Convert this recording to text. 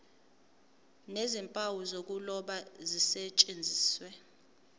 nezimpawu zokuloba zisetshenziswe